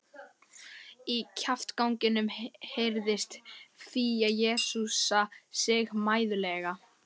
Inní kjaftaganginum heyrðist Fía jesúsa sig mæðulega.